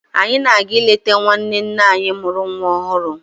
Anyị na-aga ịleta nwanne nne anyị mụrụ nwa ọhụrụ.